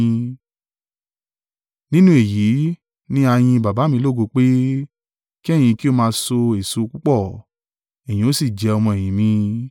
Nínú èyí ní a yìn Baba mi lógo pé, kí ẹ̀yin kí ó máa so èso púpọ̀; ẹ̀yin ó sì jẹ́ ọmọ-ẹ̀yìn mi.